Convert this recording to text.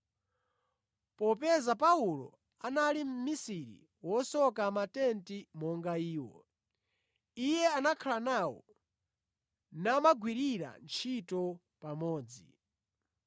Popeza Paulo anali mʼmisiri wosoka matenti monga iwo, iye anakhala nawo namagwirira ntchito pamodzi.